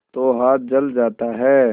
तो हाथ जल जाता है